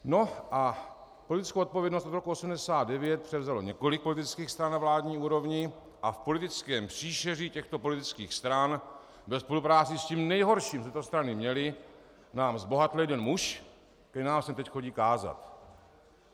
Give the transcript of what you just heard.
No a politickou odpovědnost od roku 1989 převzalo několik politických stran na vládní úrovni a v politickém příšeří těchto politických stran ve spolupráci s tím nejhorším, co tyto strany měly, nám zbohatl jeden muž, který nám sem teď chodí kázat.